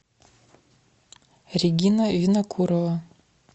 регина винокурова